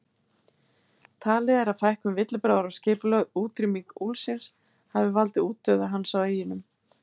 Talið er að fækkun villibráðar og skipulögð útrýming úlfsins, hafi valdið útdauða hans á eyjunum.